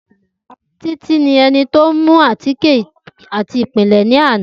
Titi ni ẹni ti o mu átíkè ati ipilẹ lana.